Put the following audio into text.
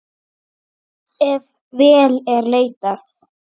Ef vel er leitað.